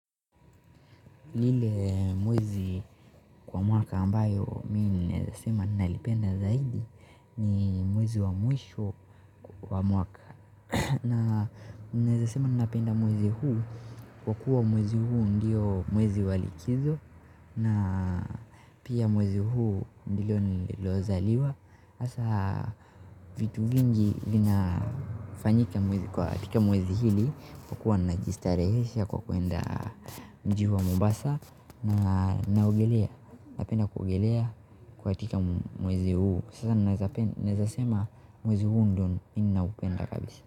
Ile mwezi kwa mwaka ambayo mimi ninaweza sema nalipenda zaidi ni mwezi wa mwisho kwa mwaka. Na ninaweza sema napenda mwezi huu kwa kuwa mwezi huu ndio mwezi wa likizo na pia mwezi huu ndio niliozaliwa hasa vitu vingi vinafanyika mwezi kwa tika mwezi hili kwa kuwa najistarehesha kwa kwenda mji wa Mombasa na naogelea. Napenda kuogelea katika mwezi huu. Sasa naweza sema mwezi huu ndio ninaupenda kabisa.